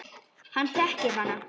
Hann þekkir hana.